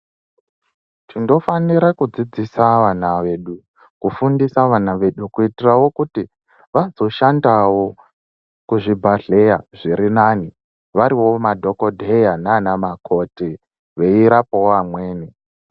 Tindofanira kudzidzisa vana vedu, kufundisa vana vedu , kuyitirawo kuti, vadzoshandawo kuzvibhadleya zvirinani, variwo madhokodheya nanamakoti, veyirapawo vamweni.